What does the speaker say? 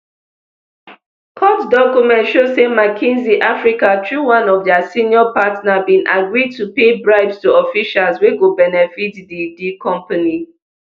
court document show say mckinsey africa through one of dia senior partner bin agree to pay bribes to officials wey go benefit di di company